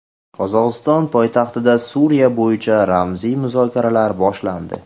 Qozog‘iston poytaxtida Suriya bo‘yicha rasmiy muzokaralar boshlandi .